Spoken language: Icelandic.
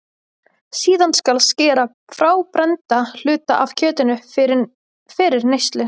Síðan skal skera frá brennda hluta af kjötinu fyrir neyslu.